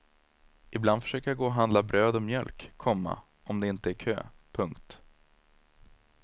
Ibland försöker jag gå och handla bröd och mjölk, komma om det inte är kö. punkt